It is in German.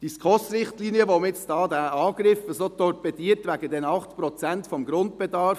Nun greift man die SKOSRichtlinien an und torpediert sie wegen den 8 Prozent des Grundbedarfs.